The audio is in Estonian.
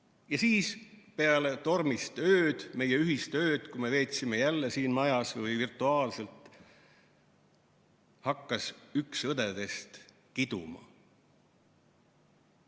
Ja siis peale tormist ööd, meie ühist ööd, mis me veetsime jälle siin majas või virtuaalselt, hakkas üks õdedest kiduma.